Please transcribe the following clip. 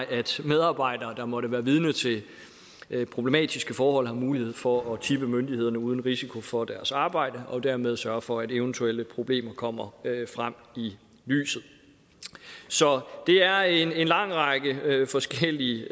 at medarbejdere der måtte være vidne til problematiske forhold har mulighed for at tippe myndighederne uden risiko for deres arbejde og dermed sørge for at eventuelle problemer kommer frem i lyset så det er en lang række forskellige